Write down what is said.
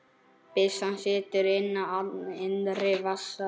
Byssan situr í innri vas